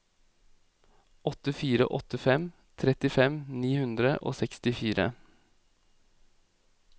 åtte fire åtte fem trettifem ni hundre og sekstifire